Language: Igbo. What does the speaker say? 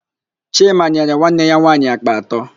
Chima nyere nwanne ya nwaanyị àkpà atọ.